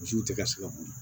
Misiw tɛ ka se ka boli